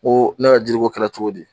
Ko ne ka jiri ko kɛra cogo di